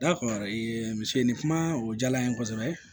misennin kuma o diyara n ye kosɛbɛ